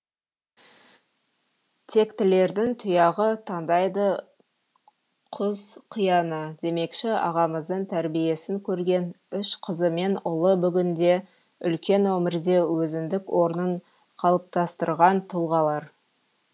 тектілердің тұяғы таңдайды құз қияны демекші ағамыздың тәрбиесін көрген үш қызы мен ұлы бүгінде үлкен өмірде өзіндік орнын қалыптастырған тұлғалар